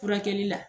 Furakɛli la